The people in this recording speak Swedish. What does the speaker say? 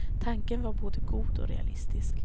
Tanken var både god och realistisk.